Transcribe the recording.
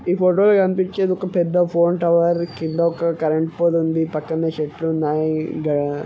ఈ ఫోటో లో కనిపించేది ఒక పెద్ద ఫోన్ టవర్ కింద ఓక కరెంటు పోల్ ఉంది. పక్కన చెట్లు ఉన్నాయ్ ఇడ .